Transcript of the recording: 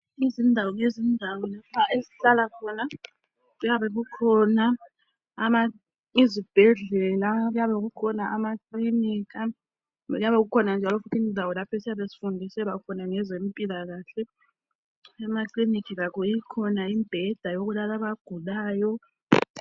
Ngezindawo ngezindawo esihlala khona kuyabe kukhona izibhedlela, amakilinika Kanye lendawo lapho esiyabe sifundiselwa khona ngezempilakahle. Emakilinika lakho ikhona imibheda yokulala abagulayo.